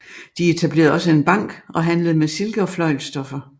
De etablerede også en bank og handlede med silke og fløjlsstoffer